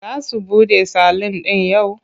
Za su buɗe salun ɗin yau?